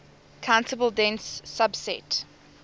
countable dense subset